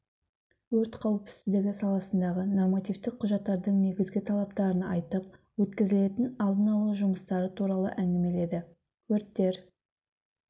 өрт қауіпсіздігі саласындағы нормативтік құжаттардың негізгі талаптарын айтып өткізілетін алдын алу жұмыстары туралы әңгімеледі өрттер